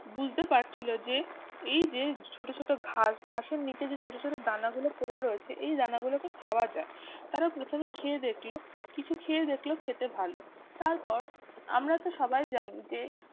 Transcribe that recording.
বুঝতে পারছিল যে এই যে ছোট ছোট ঘাস ঘাসের নিচে যে ছোট ছোট দানাগুলো পড়ে রয়েছে এই দানাগুলোকে খাওয়া যায় তারা প্রথমে খেয়ে দেখলো কিছু খেয়ে দেখল খেতে ভালো তারপর আমরা তো সবাই জানি যে